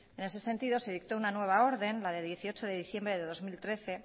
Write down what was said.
en ese sentido se dictó una nueva orden la de dieciocho de diciembre de dos mil trece